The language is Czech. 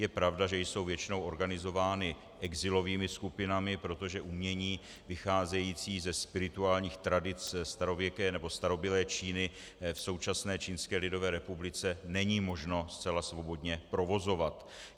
Je pravda, že jsou většinou organizovány exilovými skupinami, protože umění vycházející ze spirituálních tradic starověké nebo starobylé Číny v současné Čínské lidové republice není možno zcela svobodně provozovat.